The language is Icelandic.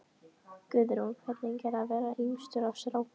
Guðrún: Hvernig er að vera yngstur af strákunum?